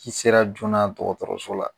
Ci sera joona dɔgɔtɔrɔso la